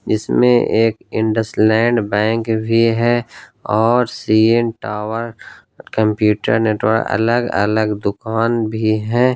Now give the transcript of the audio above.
इसमें एक Indus LAN bank भी है और सी_एन टावर कंप्यूटर नेटवर्क अलग अलग दुकान भी है।